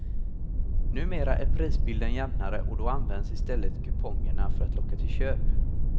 Numera är prisbilden jämnare och då används i stället kupongerna för att locka till köp.